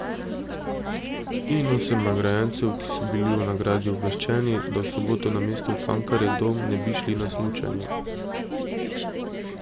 In osem nagrajencev, ki so bili o nagradi obveščeni, da v soboto namesto v Cankarjev dom ne bi šli na smučanje.